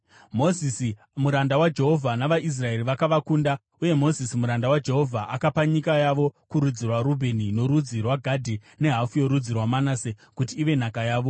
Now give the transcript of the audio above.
Mozisi, muranda waJehovha, navaIsraeri vakavakunda. Uye Mozisi muranda waJehovha akapa nyika yavo kurudzi rwaRubheni, norudzi rwaGadhi nehafu yorudzi rwaManase kuti ive nhaka yavo.